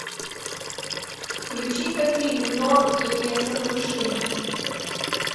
включи ка фильм норм и несокрушимые